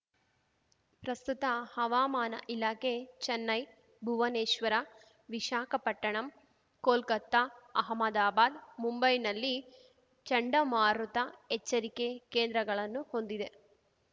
ಪ್ರಸ್ತುತ ಹವಾಮಾನ ಇಲಾಖೆ ಚೆನ್ನೈ ಭುವನೇಶ್ವರ ವಿಶಾಖಪಟ್ಟಣಂ ಕೊಲ್ಕತಾ ಅಹಮದಾಬಾದ್‌ ಮುಂಬೈನಲ್ಲಿ ಚಂಡಮಾರುತ ಎಚ್ಚರಿಕೆ ಕೇಂದ್ರಗಳನ್ನು ಹೊಂದಿದೆ